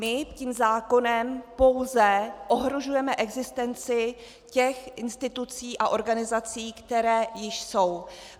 My tím zákonem pouze ohrožujeme existenci těch institucí a organizací, které již jsou.